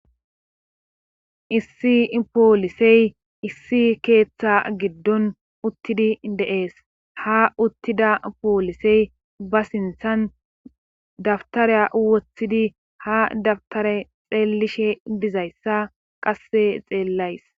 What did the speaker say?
Issi poolisey issi keeththa giddon uttidi deees ha uttida poolisey ba sinthan dabtareya woththidi ha dabtare xeellishe bizayssa qasse xeellays